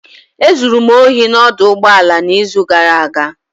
E zuru m ohi n'ọdụ ụgbọala n'izu gara aga.